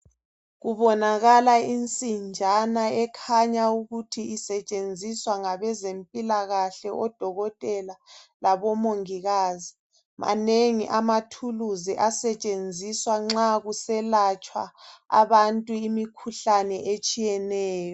kubonakala insinjana ekhanya ukuthi isetshenziswa ngabezempilakahle odokotela labo mongikazi manengi amathuluzi asetshenziswa nxa kuselatshwa abantu imikhuhlane etshiyeneyo.